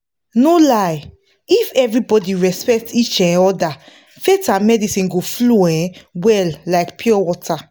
no lie if everybody respect each um other faith and medicine go flow um well like pure water.